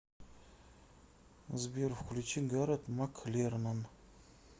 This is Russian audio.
сбер включи гарет маклернон